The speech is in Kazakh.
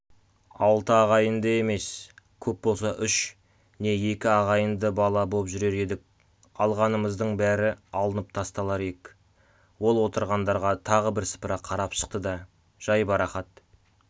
алты ағайынды емес көп болса үш не екі ағайынды бала боп жүрер едік алғанымыздың бәрі алынып тасталар ек ол отырғандарға тағы бір сыпыра қарап шықты да жайбарақат